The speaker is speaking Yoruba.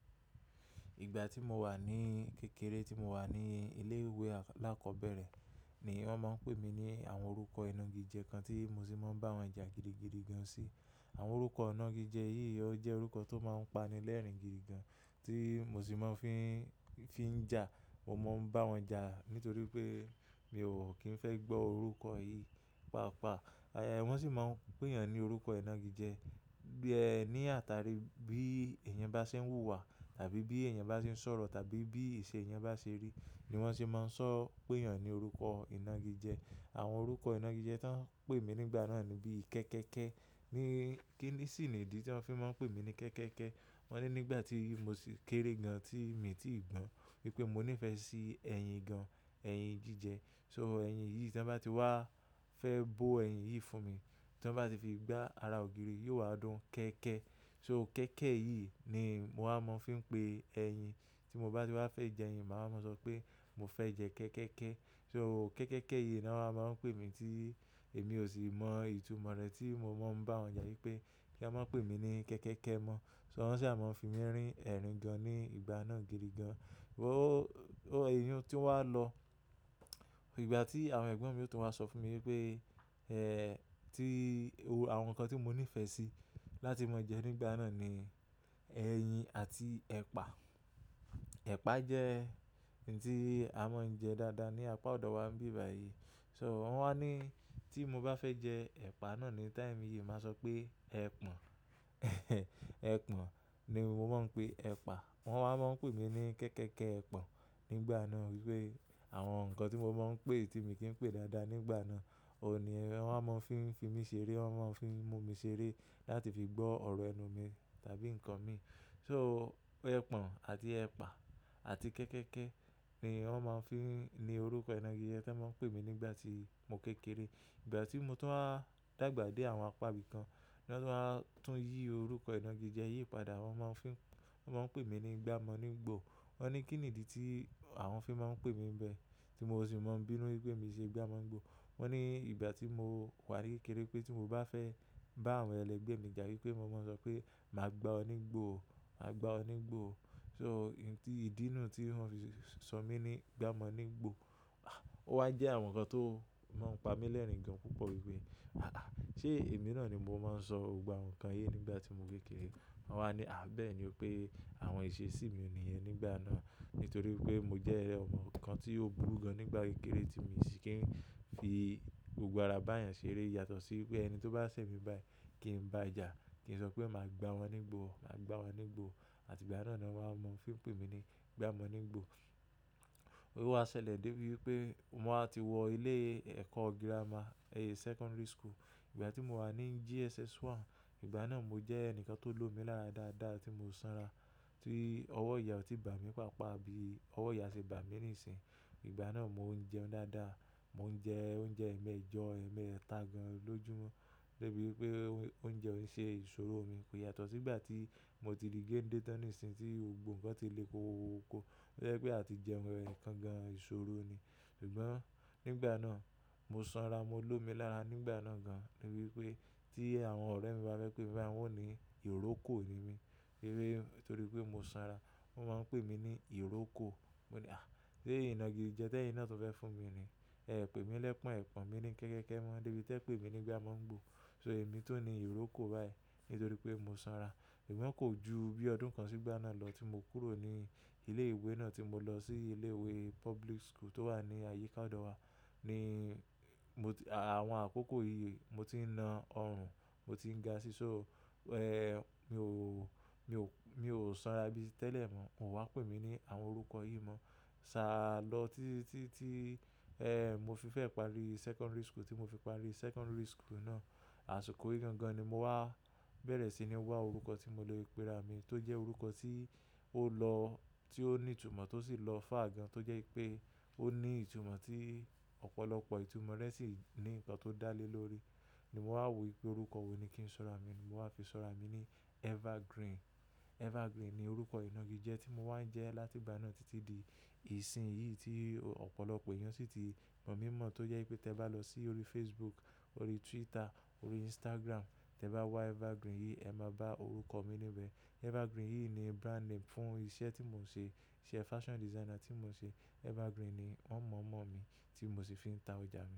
Ìgbà tí mo wà ní kékeré, tí mo wà ní ilé ìwé alákọ̀ọ́bẹ̀rẹ̀ ni wọ́n máa ń pè mí ní àwọn orúkọ iná igi jẹ kan tí mo sì máa ń bá wọn jà gidigidi gan sí. Àwọn orúkọ ọ̀nà igi jẹ yìí, ó jẹ́ orúkọ tó máa ń pani lẹ́rìn-ín gidigan tí mo sì máa ń fi ń, fi ń jà. Mo máa ń bá wọn jà nítorí pé mi ò kí ń fẹ́ gbọ́ orúkọ yìí paapaa. Wọ́n sì máa ń pè yàn ní orúkọ iná igi jẹ. Bí ẹ ní àtàrí bí èèyàn bá ṣe ń wùwà tàbí bí èèyàn bá ṣe ń sọ̀rọ̀ tàbí bí iṣẹ́ èèyàn bá ṣe rí ni wọ́n sì máa ń sọ pé yàn ní orúkọ iná igi jẹ. Àwọn orúkọ iná igi jẹ tó ń pè mí nígbà náà ni bí Kẹ́kẹ́kẹ́. Kí sìní ìdí tí wọ́n fi máa ń pè mí ní Kẹ́kẹ́kẹ́. Wọ́n ní nígbà tí mo sì kéré gan, tí mi ti gbọ́n wípé mo níìfẹ́ sí ẹyin gan, ẹyin jíjẹ. So ẹyin yìí tí wọ́n bá ti wá fẹ́ bó ẹyin yìí fún mi, tí wọ́n bá ti fi gbá ara ògiri, yóò wá dún kẹ́kẹ́. So kẹ́kẹ́ yìí ni mo máa ń fi pé ẹyin. Tí mo bá ti wá fẹ́ jẹ ẹyin, màá máa sọ pé mo fẹ́ jẹ kẹ́kẹ́kẹ́. So kẹ́kẹ́kẹ́ yìí ni wọ́n máa ń pè mí tí èmi ò sì mọ ìtumọ̀ rẹ̀ tí mo máa ń bá wọn jà wípé kí ẹ máa ń pè mí ní Kẹ́kẹ́kẹ́ mọ. So wọ́n sì máa ń fi mí rín ẹ̀rín gan ní ìgbà náà gidigan. Èyín tó wà lọ, ìgbà tí àwọn ẹ̀gbọ́n mi tó máa sọ fún mi wípé tí àwọn nǹkan tí mo nífẹ̀ẹ́ sí láti máa jẹ nígbà náà ni ẹyin àti ẹ̀pà. Ẹ̀pà jẹ́ ǹti a máa ń jẹ dáadáa ní apá ọ̀dọ̀ wa níbẹ̀ báyìí. So wọ́n wá ní tí mo bá fẹ́ jẹ ẹ̀pà náà ní táìmì yìí, màá sọ pé ẹ̀pọ̀n. Ẹ̀pọ̀n ni mo máa ń pe ẹ̀pà. Wọ́n wá máa ń pè mí ní Kẹ́kẹ́kẹ́ Ẹ̀pọ̀n nígbà náà wípé àwọn nǹkan tí mo máa ń pè tí mi kì í pè dáadáa nígbà náà, òhun ní wọ́n wá máa ń fi, fi mí ṣeré, wọ́n máa ń fi mú mi ṣeré láti fi gbọ́ ọ̀rọ̀ ẹnu mi tàbí ǹkan mi. So ẹ̀pọ̀n àti ẹ̀pà àti Kẹ́kẹ́kẹ́ ni wọ́n máa ń fi ní orúkọ iná igi jẹ tí wọ́n máa ń pè mí nígbà tí mo kékeré. Ìgbà tí mo tó wá dàgbà dé àwọn apá ibìkan, ní wọ́n tó wá tún yí orúkọ iná igi jẹ yìí padà, wọ́n máa ń fi, wọ́n máa ń pè mí ní Gba'mọ́-nígbò. Wọ́n ní kí n ìdí tí àwọn fi máa ń pè mí bẹ tí mo sì máa ń bínú wípé mi ṣe Gba'mọ́-nígbò. Wọ́n ní ìgbà tí mo wà ní kékeré pé tí mo bá fẹ́ bá àwọn ẹlẹgbẹ́ mi jà wípé mo máa ń sọ pé màá gbá ọ nígbò ó, màá gbá ọ nígbò ó. So ǹ ti ìdínà tí wọ́n fi sọ mí ní Gba'mọ́-nígbò, o wá jẹ́ àwọn nǹkan tó máa ń pami lẹ́rìn gan púpọ̀ wípé àà, ṣe èmi náà ni mo máa ń sọ gbogbo àwọn nǹkan yìí nígbà tí mo kékeré. Wọ́n wá ní à bẹ́ẹ̀ ni o pé àwọn ìṣe sí mi òní yẹn nígbà náà. Nítorí pé mo jẹ́ ọmọ kan tí ó burú gan nígbà kékeré tí mo sì kì í fi gbogbo ara bá èèyàn ṣeré yàtọ̀ sí pé ẹni tó bá ṣẹ̀ mi báyìí kí ń bá a jà, kí ń sọ pé màá gbá wọn nígbò ó, màá gbá wa nígbò ó. Àti ìgbà náà ni wọ́n wá mọ fí ń pè mí ní Gba'mọ́-nígbò. Ó wá ṣẹlẹ̀ dé bi wipé mo wá ti wọ ilé ẹ̀kọ́ girama, secondary school. Ìgbà tí mo wà ní JSS 1, ìgbà náà mo jẹ́ ẹnìkan tó lómi lára dáadáa tí mo sanra, tí ọwọ́ ìyá ò tí bà mí paapaa bí ọwọ́ ìyá ṣe bà mí ní ìsìn. Ìgbà náà mo ń jẹun dáadáa. Mo ń jẹ oúnjẹ ẹ̀mẹ́jọ, ẹ̀mẹ́ta gàn lọjúmọ́ débi wípé oúnjẹ ò ń ṣe ìṣòro mi. Kò yàtọ̀ sí ìgbà tí mo ti di gènde tan nìsìn tí ohun gbogbo ǹkan ti lé kokokoko. Ó jẹ́ pé àti jẹun ẹ̀ẹ̀kan gan ìṣòro ni. Ṣùgbọ́n nígbà náà mo sanra, mo lómi lára nígbà náà gan. Níbi wípé tí àwọn ọ̀rẹ́ mi bá fẹ́ pé mi bá wọn wò ní ìrókò ni mí. Wípé torí pé mo sanra, wọ́n máa ń pè mí ní ìrókò. Mo ní à sé iná igi jẹ tẹ́ẹ́ yìí náà tó fẹ́ fún mi ni. Ẹ pè mí lẹ́pọ̀n ẹ̀pọ̀n, mi ní kẹ́kẹ́kẹ́ mọ́, débi tí ẹ pè mí ní Gba'mọ́-nígbò. So èmi tó ni ìrókò báyìí nítorí pé mo sanra. Ṣùgbọ́n kò ju bí ọdún kan sígbà náà lọ tí mo kúrò ní ilé ìwé náà tí mo lọ sí ilé ìwé public school tó wà ní àyíká ọ̀dọ̀ wa ni mo àwọn àkókò yìí mo ti ń na ọrùn, mo ti ń gaṣí ṣó. Ẹ́hn! Mi ò, mi ò, mi ò sanra bí tẹ́lẹ̀ mọ́. Wọn wá pè mí ní àwọn orúkọ yìí mọ́. Tá lọ títí tí ẹ́ mo fi fẹ́ parí secondary school tí mo fi parí secondary school náà. Àsìkò yìí gan gan ni mo wá bẹ̀rẹ̀ sí ní wá orúkọ tí mo le péra mi tó jẹ́ orúkọ tí ó lọ, tí ó ní ìtumọ̀ tó sì lọ far gan tó jẹ́ pé ó ní ìtumọ̀ tí ọ̀pọ̀lọpọ̀ ìtumọ̀ rẹ̀ sì ní ǹkan tó dá lé lórí ni mo wá wò wípé orúkọ wò ni kí ń sọ̀rọ̀ mi ni mo wá fi sọ̀rọ̀ mi ní Evergreen. Evergreen ni orúkọ iná igi jẹ tí mo wá ń jẹ láti ìgbà náà títí di ìsìn yìí tí ọ̀pọ̀lọpọ̀ èèyàn sì ti mọ̀ mí mọ̀ tó jẹ́ pé tí ẹ bá lọ sí orí Facebook, orí Twitter, orí Instagram, tí ẹ bá wá Evergreen yìí ẹ máa bá orúkọ mi níbẹ̀. Evergreen yìí ni brand name fún iṣẹ́ tí mò ń ṣe. Isẹ́ fashion designer tí mò ń ṣe. Evergreen ni wọ́n mọ̀ mọ̀ mí tí mo sì fi ń ta òjá mi.